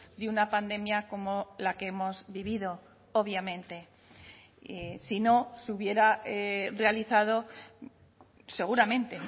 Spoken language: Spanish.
de una pandemia como la que hemos vivido obviamente si no se hubiera realizado seguramente